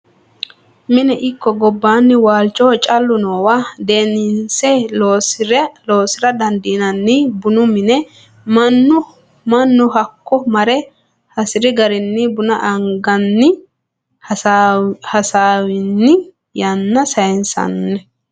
Mine ikko gobbanni waalchoho caalu noowa deinse loosira dandiinanni bunu mine mannuno hakko marre hasiri garinni buna aganni hasaawanni yanna saysano.